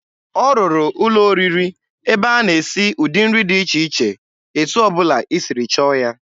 Ọ rụrụ ụlọ oriri ebe a na-esi ụdị nri dị iche iche, etu ọ bụla i siri chọọ ya.